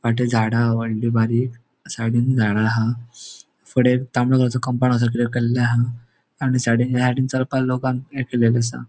फाटी झाड़ा हा होडली बारीक साइडीन झाड़ा हा फुड़े तांबडो कलरचो कम्पाउन्ड असो केले हा आणि साइडीन ह्या साइडीन चलपाक लोकांक ये केल्लेले असा.